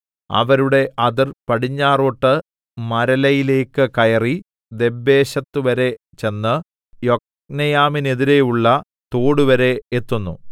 അവരുടെ അതിർ പടിഞ്ഞാറോട്ട് മരലയിലേക്ക് കയറി ദബ്ബേശെത്ത്‌വരെ ചെന്ന് യൊക്നെയാമിനെതിരെയുള്ള തോടുവരെ എത്തുന്നു